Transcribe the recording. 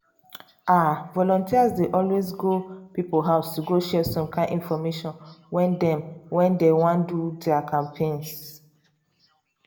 ah! volunteers dey always go people house to go share some kind infomation when dey when dey wan do their campaigns.